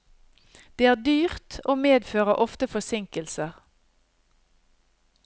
Det er dyrt og medfører ofte forsinkelser.